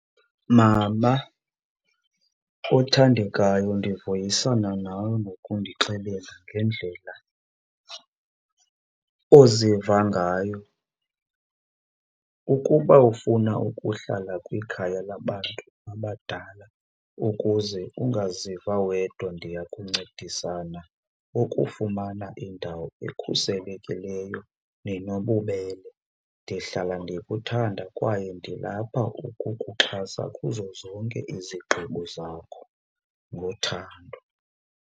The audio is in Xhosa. Mama othandekayo, ndivuyisana nawe ngokundixelela ngendlela oziva ngayo. Ukuba ufuna ukuhlala kwikhaya labantu abadala ukuze ungaziva wedwa ndiya kuncedisana ukufumana indawo ekhuselekileyo nenobubele. Ndihlala ndikuthanda kwaye ndilapha ukukuxhasa kuzo zonke izigqibo zakho ngothando.